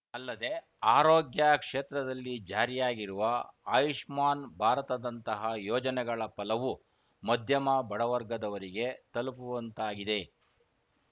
ಅಲ್ಲದೇ ಆರೋಗ್ಯ ಕ್ಷೇತ್ರದಲ್ಲಿ ಜಾರಿಯಾಗಿರುವ ಆಯುಷ್ಮಾನ್‌ ಭಾರತದಂತಹ ಯೋಜನೆಗಳ ಫಲವು ಮದ್ಯಮ ಬಡವರ್ಗದವರಿಗೆ ತಲುಪುವಂತಾಗಿದೆ